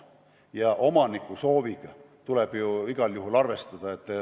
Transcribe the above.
Ja omaniku sooviga tuleb igal juhul arvestada.